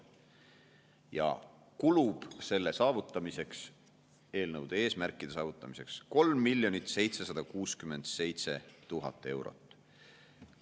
Ja kulub selle saavutamiseks, eelnõude eesmärkide saavutamiseks 3 767 000 eurot.